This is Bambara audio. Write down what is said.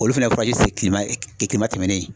Olu fɛnɛ kilema kilema tɛmɛnen